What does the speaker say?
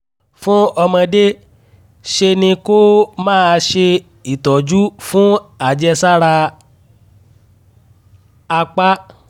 fún ọmọdé ṣe ni kó o máa ṣe ìtọ́jú fún àjẹsára apá